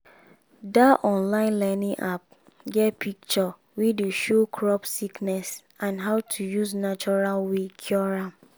that online learning app get picture wey dey show crop sickness and how to use natural way take cure am.